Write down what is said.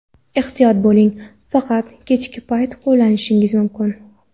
Ehtiyot bo‘ling: faqat kechki payt qo‘llashingiz mumkin!